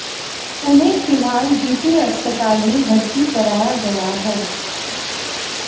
उन्हें फिलहाल जीटी अस्पताल में भर्ती कराया गया है